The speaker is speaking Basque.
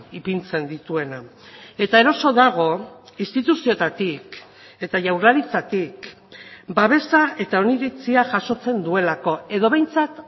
ipintzen dituena eta eroso dago instituzioetatik eta jaurlaritzatik babesa eta oniritzia jasotzen duelako edo behintzat